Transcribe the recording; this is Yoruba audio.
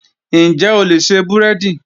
Ǹjẹ́ o lè ṣe búrẹ́dì?.